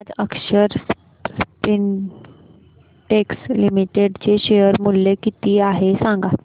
आज Akshar Spintex limited चे share मूल्य किती आहे सांगा